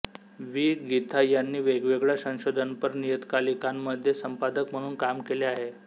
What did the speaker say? वि गीथा यांनी वेगवेगळ्या संशोधनपर नियतकालिकांमध्ये संपादक म्हणून काम केले आहे